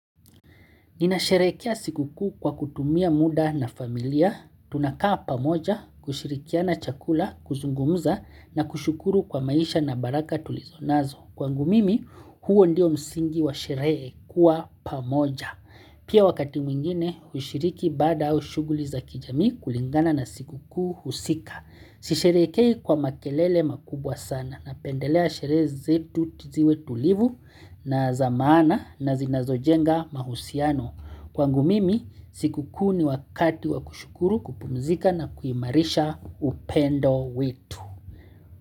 Ninasherehekea siku kuu kwa kutumia muda na familia, tunakaa pamoja, kushirikiana chakula, kuzungumza na kushukuru kwa maisha na baraka tulizo nazo. Kwangu mimi, huo ndio msingi wa sherehe kuwa pamoja. Pia wakati mwingine, hushiriki baada au shughuli za kijamii kulingana na siku kuu husika. Sisherehekei kwa makelele makubwa sana napendelea sherehe zetu ziwe tulivu na za maana na zinazojenga mahusiano. Kwangu mimi, siku kuu ni wakati wa kushukuru kupumzika na kuimarisha upendo wetu.